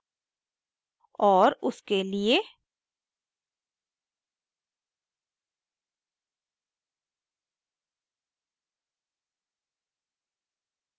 और उसके लिए